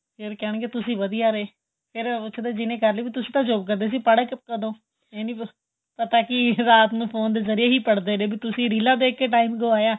ਫ਼ੇਰ ਕਹਿਣ ਗਏ ਤੁਸੀਂ ਵਧੀਆ ਰਹੇ ਤੁਸੀਂ ਤਾਂ job ਕਰਦੇ ਸੀ ਪੜੇ ਕਦੋਂ ਏਹ ਨਹੀਂ ਪਤਾ ਰਾਤ ਫੋਨ ਜਰੀਏ ਹੀ ਪੜਦੇ ਰਹੇ ਵੀ ਤੁਸੀਂ ਰੀਲਾਂ ਦੇਖਕੇ time ਗਵਾਇਆ